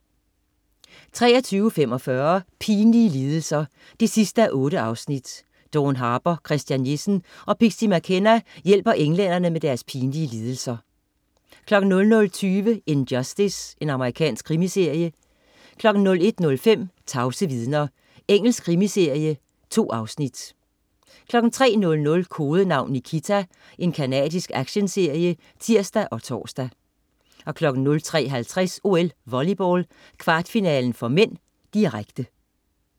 23.45 Pinlige lidelser 8:8. Dawn Harper, Christian Jessen og Pixie McKenna hjælper englænder med deres pinlige lidelser 00.20 In Justice. Amerikansk krimiserie 01.05 Tavse vidner. Engelsk krimiserie. 2 afsnit 03.00 Kodenavn Nikita. Canadisk actionserie (tirs og tors) 03.50 OL: Volleyball, kvartfinale (m), direkte